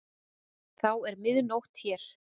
Þá er mið nótt hér.